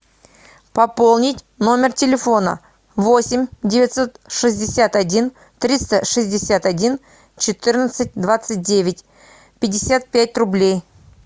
пополнить номер телефона восемь девятьсот шестьдесят один триста шестьдесят один четырнадцать двадцать девять пятьдесят пять рублей